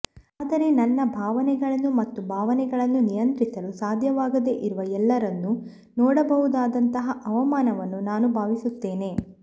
ಆದರೆ ನನ್ನ ಭಾವನೆಗಳನ್ನು ಮತ್ತು ಭಾವನೆಗಳನ್ನು ನಿಯಂತ್ರಿಸಲು ಸಾಧ್ಯವಾಗದೆ ಇರುವ ಎಲ್ಲರನ್ನೂ ನೋಡಬಹುದಾದಂತಹ ಅವಮಾನವನ್ನು ನಾನು ಭಾವಿಸುತ್ತೇನೆ